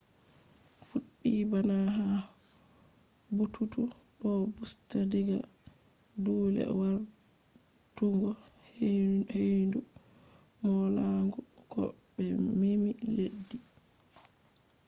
fuɗɗi bana ha bututu do busta diga dule wartugo ‘’heyndu molanagu’’ to be memi leddi